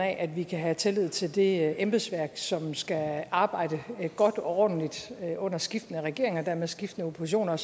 at vi kan have tillid til det embedsværk som skal arbejde godt og ordentligt under skiftende regeringer og dermed skiftende oppositioner og